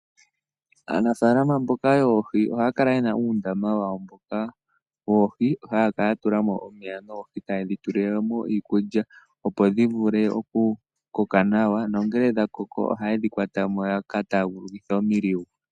Aanafaalama mboka yoohi ohaya kala ye na uundama wawo mboka woohi haya kala ya tula mo omeya noohi taye dhi tulile mo iikulya, opo dhi vule okukoka nawa nongele dha koko ohaye dhi kwatama ya ka taagulukithe oshama.